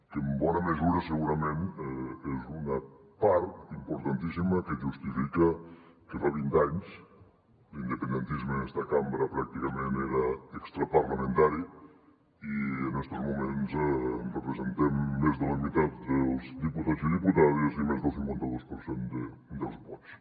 que en bona mesura segurament és una part importantíssima que justifica que fa vint anys l’independentisme en esta cambra pràcticament era extraparlamentari i en estos moments representem més de la meitat dels diputats i diputades i més del cinquanta dos per cent dels vots